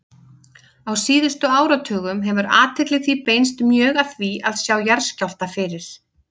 Á síðustu áratugum hefur athygli því beinst mjög að því að sjá jarðskjálfta fyrir.